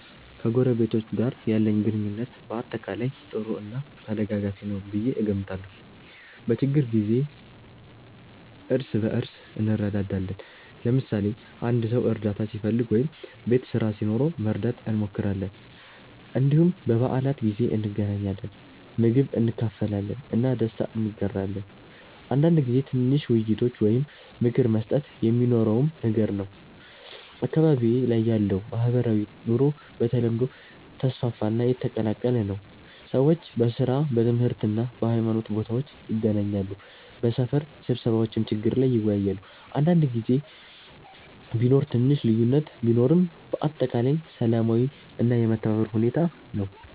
ከጎረቤቶቼ ጋር ያለኝ ግንኙነት በአጠቃላይ ጥሩ እና ተደጋጋፊ ነው ብዬ እገምታለሁ። በችግኝ ጊዜ እርስ በእርስ እንረዳዳለን፣ ለምሳሌ አንድ ሰው እርዳታ ሲፈልግ ወይም ቤት ስራ ሲኖረው መርዳት እንሞክራለን። እንዲሁም በበዓላት ጊዜ እንገናኛለን፣ ምግብ እንካፈላለን እና ደስታ እንጋራለን። አንዳንድ ጊዜ ትንሽ ውይይቶች ወይም ምክር መስጠት የሚኖረውም ነገር ነው። አካባቢዬ ላይ ያለው ማህበራዊ ኑሮ በተለምዶ ተስፋፋ እና የተቀላቀለ ነው። ሰዎች በሥራ፣ በትምህርት እና በሃይማኖት ቦታዎች ይገናኛሉ፣ በሰፈር ስብሰባዎችም ችግር ላይ ይወያያሉ። አንዳንድ ጊዜ ቢኖር ትንሽ ልዩነት ቢኖርም በአጠቃላይ ሰላማዊ እና የመተባበር ሁኔታ ነው።